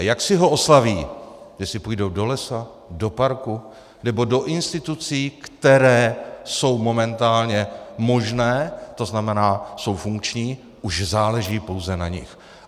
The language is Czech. A jak si ho oslaví, jestli půjdou do lesa, do parku nebo do institucí, které jsou momentálně možné, to znamená, jsou funkční, už záleží pouze na nich.